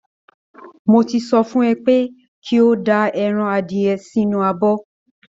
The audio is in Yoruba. Mo ti sọ fún ẹ pé kí o da ẹran adìyẹ yẹn sínú abọ́